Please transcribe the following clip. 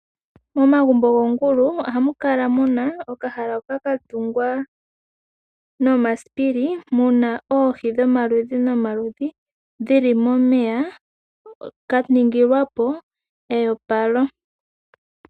Momagumbo goongulu, ohamu kala muna okahala hoka katungwa nomasipili, muna oohi dhomaludhi nomaludhi, kaningilwapo e opalo.